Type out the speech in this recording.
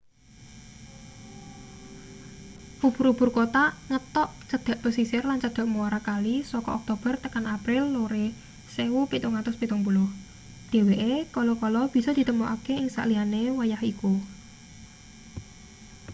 ubur-ubur kothak ngetok cedhak pesisir lan cedhak muara kali saka oktober tekan april lore 1770 dheweke kala-kala bisa ditemokake ing saliyane wayah iku